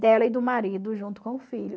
Dela e do marido junto com o filho.